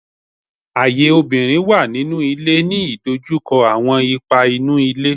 Aye obinrin wa ninu ile,” ni idojukọ awọn ipa inu ile